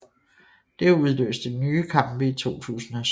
Det udløste nye kampe i 2007